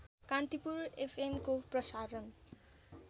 कान्तिपुर एफएमको प्रसारण